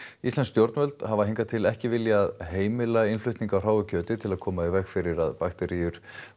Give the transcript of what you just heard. íslensk stjórnvöld hafa hingað til ekki viljað heimila innflutning á hráu kjöti til að koma í veg fyrir að bakteríur